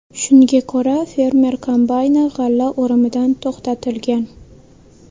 Shunga ko‘ra, fermer kombayni g‘alla o‘rimidan to‘xtatilgan.